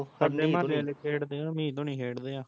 ਸਾਡੇ ਮਹੋਲੇ ਆਲੇ ਖੇਡਦੇ ਆ ਹਮੀਦ ਹੁਣੀ ਖੇਡਦੇ ਆ